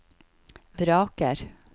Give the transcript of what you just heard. vraker